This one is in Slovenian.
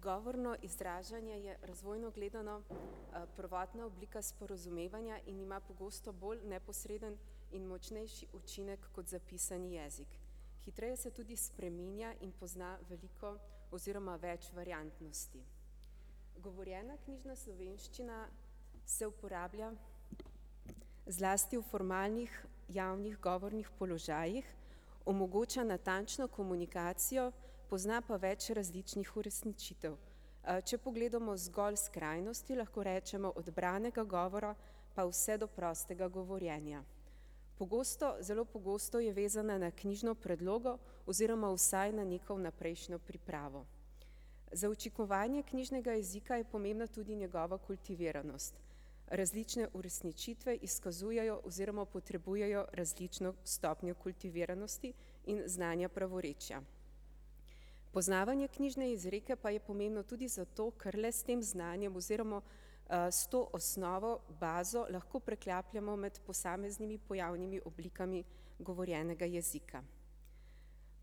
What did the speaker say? Govorno izražanje je, razvojno gledano, prvotna oblika sporazumevanja in ima pogosto bolj neposreden in močnejši učinek kot zapisani jezik. Hitreje se tudi spreminja in pozna veliko oziroma več variantnosti. Govorjena knjižna slovenščina se uporablja zlasti v formalnih, javnih govornih položajih, omogoča natančno komunikacijo, pozna pa več različnih uresničitev. Če pogledamo zgolj skrajnosti, lahko rečemo od branega govora pa vse do prostega govorjenja. Pogosto, zelo pogosto je vezana na knjižno predlogo, oziroma vsaj na neko vnaprejšnjo pripravo. Za učinkovanje knjižnega jezika je pomembna tudi njegova kultiviranost. Različne uresničitve izkazujejo oziroma potrebujejo različno stopnjo kultiviranosti in znanja pravorečja. Poznavanje knjižne izreke pa je pomembno tudi zato, ker le s tem znanjem, oziroma s to osnovo, bazo, lahko preklapljamo med posameznimi pojavnimi oblikami govorjenega jezika.